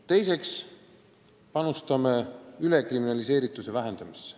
Teiseks panustame ülekriminaliseerituse vähendamisse.